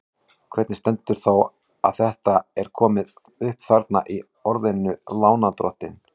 Hvernig stendur þá á að þetta er komi upp þarna í orðinu lánardrottinn?